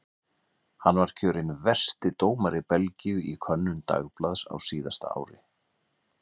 Hann var kjörinn versti dómari Belgíu í könnun dagblaðs á síðasta ári.